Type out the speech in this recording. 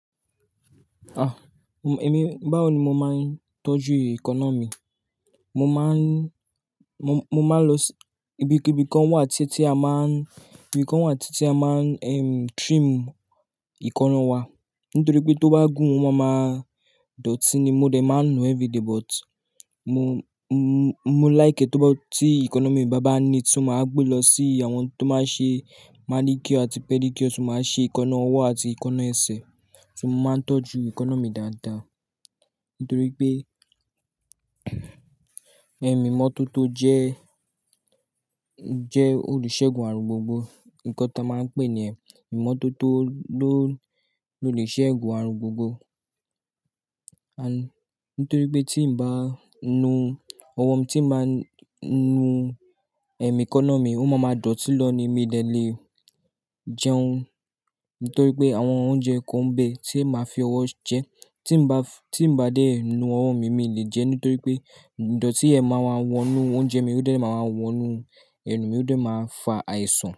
Ah! Èmi, báwo ni mo máa ń tọ́jú e kaná mi? Mo máa ń, mo, mo máa ń lọ sí ibi, ibi kan wà tí ẹ́ tí a máa ń, ibi kan wà tí ẹ́ tí a máa ń, ehm, trim ekaana wa nítorí pé tó bá gùn, o máa ma dọ̀tí ni. Mo dẹ̀ máa ń nu everyday but mo, mo, mo láìk ẹ́ tó bá, tí economy bàbá ni tí mo máa gbé lọ sí àwọn tó máa ń ṣe manicure àti pedicure, tí ó máa ń ṣe èékánná ọwọ́ àti èékánná ẹsẹ̀. Ti mo máa ń tọ́jú èékánná mi dáadáa nítorí pé, imọ́tótó jẹ́, jẹ́ olùṣègun aàrùn gbogbo. Ǹkan tán máa ń pè é ni yẹn imọ́tótó ló, lóleṣẹ́ ségun aàrùn gbogbo. Nítorí pé tí ǹ bá nu ọwọ́ mi, tí ǹ bá nu èékánná mi, o máa ma dọ̀tí lọ ni mí dẹ̀ lè jẹun. Nítorí pé àwọn oúnjẹ kan ń bẹ tí ẹ máa fi ọwọ́ jẹ́, tí ǹ bá, tí ǹ bá dé nu ọwọ́ mi, mi lè jẹ́ nítorí pé ìdọ̀tí ynẹ́ máa ma wọ inú oúnjẹ mi, ó dẹ̀ máa wọ inú ẹnu mi, ó dẹ̀ máa fa àìsàn.